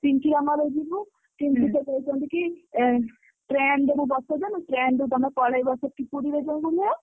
ପିଙ୍କି ର ମୋର ଯିବୁ। କହୁଛନ୍ତି କି ଏଁ train ରେ ମୁଁ ବସେଇଦେବି। train ରେ ତମେ ପଳେଇବ ସେଠି ପୁରୀରେ ଯାଇ ଓଲ୍ହେଇବ।